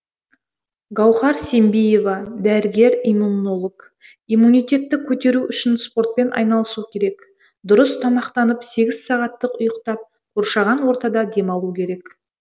гауһар сембиева дәрігер иммунолог иммунитетті көтеру үшін спортпен айналысу керек дұрыс тамақтанып сегіз сағаттық ұйықтап қоршаған ортада демалу керек